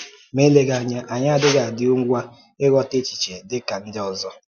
Ma elèeghi anya, anyị adịghi adị ngwa um ịghọta echiche dị ka ndị ọ zọ.